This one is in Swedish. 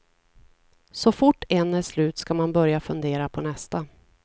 Så fort en är slut ska man börja fundera på nästa.